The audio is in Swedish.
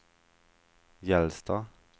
Gällstad